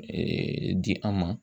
di an ma.